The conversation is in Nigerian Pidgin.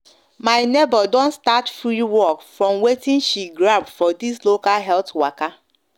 my neighbor don start free work from watin she grab from this local health waka